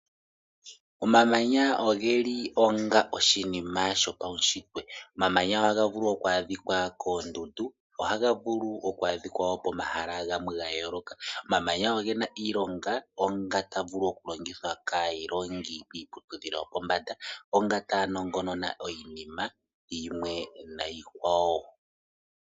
Omamanya oge li onga oshinima shopaushitwe. Omamanya ohaga vulu oku adhika koondundu, ohaga vulu oku adhika wo pomahala gamwe ga yooloka. Omamanya oge na iilonga onga taga vulu okulongithwa kaailongi kiiputudhilo yopombanda, onga taa nongonona iinima yilwe niikwawo.